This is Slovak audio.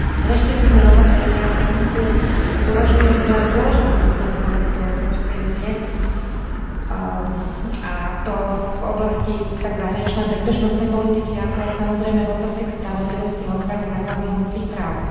Reštriktívne opatrenia a sankcie považujem za dôležitý nástroj v politike Európskej únie, a to v oblasti tak zahraničnej a bezpečnostnej politiky, ako aj, samozrejme, v otázkach spravodlivosti a ochrany základných ľudských práv.